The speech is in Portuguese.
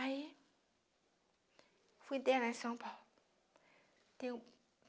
Aí... Fui até lá em São Paulo.